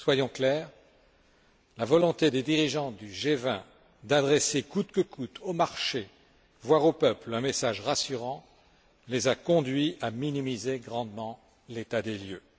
Soyons clairs, la volonté des dirigeants du G20 d'adresser coûte que coûte au marché, voire au peuple, un message rassurant les a conduits à minimiser grandement l'état des lieux.